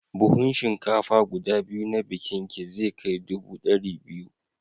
Buhun shinkafa guda biyu na bikinki zai kai dubu ɗari biyu.